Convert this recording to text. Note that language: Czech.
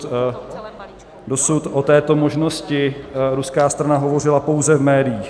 Dosud o této možnosti ruská strana hovořila pouze v médiích.